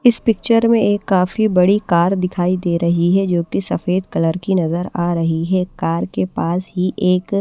इस पिक्चर में एक काफी बड़ी कार दिखाई दे रही है जो कि सफेद कलर की नजर आ रही है कार के पास ही एक--